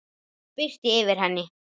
Það birti yfir henni.